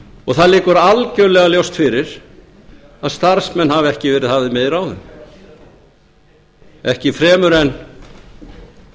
og það liggur algjörlega ljóst fyrir að starfsmenn hafa ekki verið hafðir með í ráðum ekki fremur en þegar